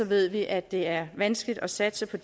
ved vi at det er vanskeligt at satse på